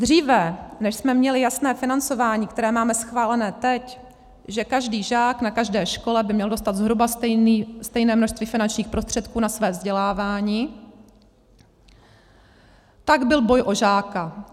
Dříve než jsme měli jasné financování, které máme schválené teď, že každý žák na každé škole by měl dostat zhruba stejné množství finančních prostředků na své vzdělávání, tak byl boj o žáka.